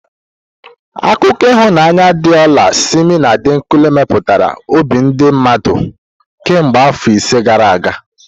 Akụkọ ịhụnanya di ola Simi na Adekunle meturu obi ndi mmadu kemgbe afọ ise gara aga.